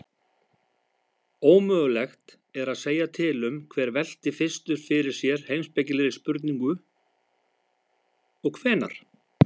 Ómögulegt er að segja til um hver velti fyrstur fyrir sér heimspekilegri spurningu og hvenær.